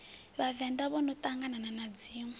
vhavenḓa vhono ṱangana na dziṋwe